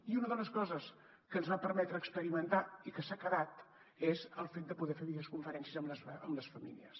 i una de les coses que ens va permetre experimentar i que s’ha quedat és el fet de poder fer videoconferències amb les famílies